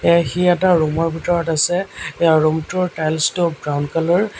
এয়া সি এটা ৰুম ৰ ভিতৰত আছে ইয়াৰ ৰুম টোৰ টাইলছ টো ব্ৰাউন কালাৰ ।